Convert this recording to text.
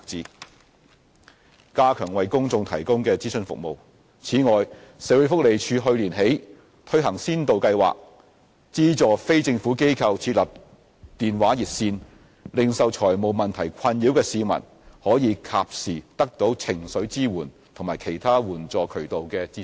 c 加強為公眾提供的諮詢服務此外，社會福利署去年起推行先導計劃，資助非政府機構設立電話熱線，令受財務問題困擾的市民可以及時得到情緒支援和其他援助渠道的資訊。